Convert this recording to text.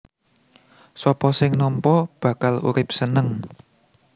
Sapa sing nampa bakal urip seneng